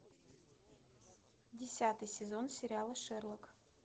десятый сезон сериала шерлок